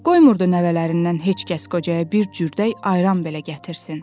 Qoymurdu nəvələrindən heç kəs qocaya bir cürdə ayran belə gətirsin.